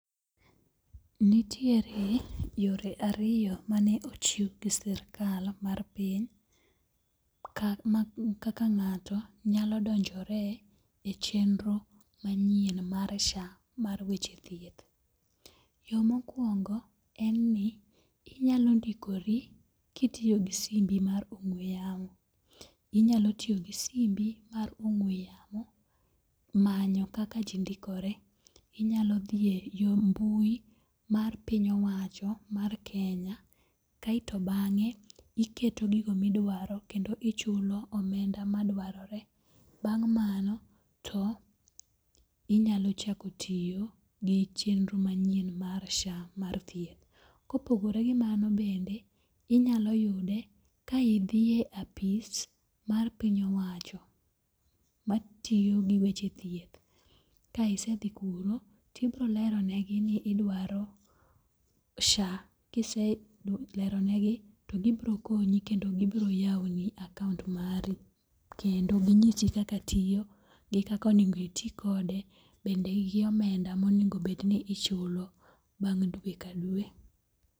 Nitiere yore ariyo mane ochiw gi sirikal mar piny kaka ng'ato nyalo donjore e chenro manyien mar SHA mar weche thieth. Yo mokwongo en ni inyalo ndikori kitiyo gi simbi mar ong'we yamo. Inyalo tiyo gi simbi mar ong'we yamo manyo kaka ji ndikore. Inyalo dhi e yo mbui mar piny owacho mar Kenya, kaeto bang'e iketo gigo midwaro kendo ichulo omenda madwarore. Bang' mano to, inyalo chako tiyo gi chenro manyien mar SHA mar thieth. Kopogore gi mano bende inyalo yude ka idhiye apis mar piny owacho matiyo gi weche thieth, ka isedhi kuro tibiro lero negi ni idwaro SHA kiseleronegi, to gibro konyi kendo gibiro yawoni akaont mari, kendo ginyisi kaka tiyo gi kaka onego iti kode, bende gi omenda monego bed ni ichulo bang' dwe ka dwe.